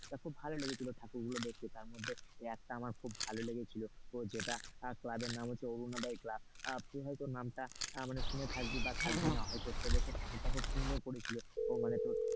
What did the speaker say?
এটা খুব ভালো লেগেছিল ঠাকুর গুলো দেখতে একটা তার মধ্যে একটা আমার খুব ভালো লেগেছিল ও যেটা ক্লাবের নাম হচ্ছে অরুণাদ্বয় ক্লাব তুই হয়তো নামটা শুনে থাকবি বা থাকবি না হয়তো, সে বছর ঠাকুরটা খুব সুন্দর করেছিলতোর।